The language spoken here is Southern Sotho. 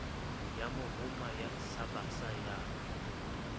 ya mohoma sa basa ya